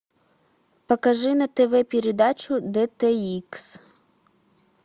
покажи на тв передачу дт икс